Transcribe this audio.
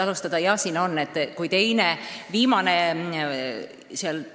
Alustan teie küsimuse lõpupoolest.